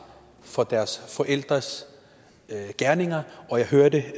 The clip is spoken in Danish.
for deres forældres gerninger jeg hørte